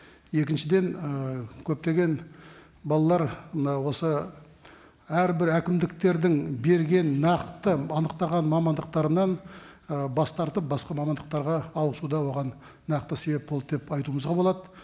екіншіден ы көптеген балалар мынау осы әрбір әкімдіктердің берген нақты анықтаған мамандықтарынан ы бас тартып басқа мамандықтарға ауысу да оған нақты себеп болды деп айтуымызға болады